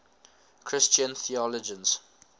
christian theologians